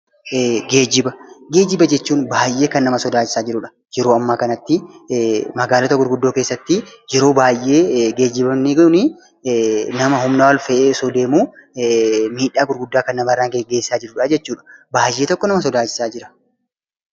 Geejjiba jechuun baay'ee kan nama sodaachisaa jirudha. Yeroo ammaa kanatti magaalota gurguddoo keessatti yeroo baay'ee geejjiboonni kun nama humnaa ol fe'ee osoo deemuu miidhaa gurguddaa kan namarraan geessisaa jirudha jechuudha. Baay'ee tokko nama sodaachisaa jira!